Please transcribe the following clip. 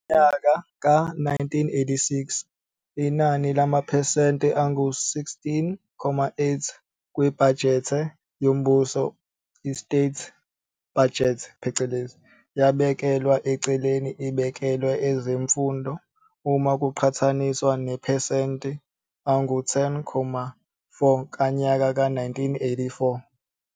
Ngonyaka ka 1986, inani lamaphesente angu 16.8 kwibhajethe yombuso, state budget, yabekelwa eceleni ibekelwe ezemfundo, uma kuqhathaniswa namaphesente angu 10.4 kanyaka ka 1984.